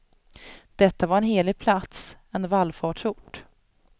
Detta var en helig plats, en vallfartsort.